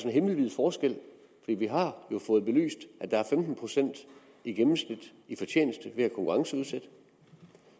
er himmelvid forskel vi vi har jo fået belyst at der er femten procent i gennemsnit i fortjeneste ved at konkurrenceudsætte